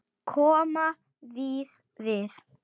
Kom víða við.